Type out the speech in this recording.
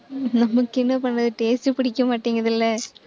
நமக்கு என்ன பண்றது taste பிடிக்க மாட்டேங்குதுல்ல